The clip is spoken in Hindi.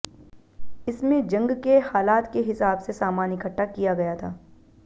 इसमें जंग के हालात के हिसाब से सामान इकट्ठा किया गया था